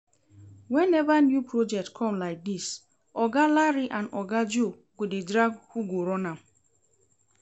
Whenever new project come like dis, oga Larry and oga Joe go dey drag who go run am